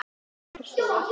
Mig langar bara að sofa.